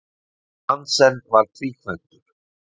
Nansen var tvíkvæntur.